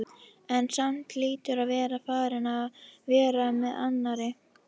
En samt hlýtur hann að vera farinn að vera með annarri.